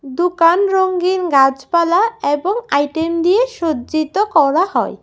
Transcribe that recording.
দোকান রঙিন গাছপালা এবং আইটেম দিয়ে সজ্জিত করা হয়।